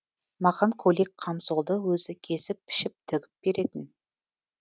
маған көйлек камзолды өзі кесіп пішіп тігіп беретін